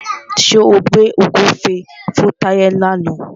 Ṣé o gbẹ́ ògúnfe fún Táyé làna?